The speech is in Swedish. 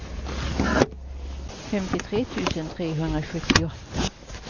femtiotre tusen trehundrasjuttioåtta